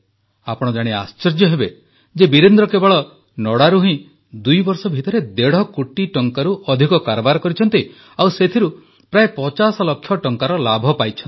ଆପଣ ଜାଣି ଆଶ୍ଚର୍ଯ୍ୟ ହେବେ ଯେ ବୀରେନ୍ଦ୍ର କେବଳ ନଡ଼ାରୁ ହିଁ ଦୁଇବର୍ଷ ଭିତରେ ଦେଢ଼ କୋଟି ଟଙ୍କାରୁ ଅଧିକ କାରବାର କରିଛନ୍ତି ଆଉ ସେଥିରୁ ପ୍ରାୟ 50 ଲକ୍ଷ ଟଙ୍କାର ଲାଭ ପାଇଛନ୍ତି